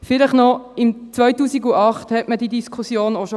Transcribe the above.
Vielleicht noch etwas: 2008 führte man diese Diskussion auch schon.